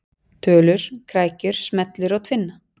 Tölur, krækjur, smellur og tvinna.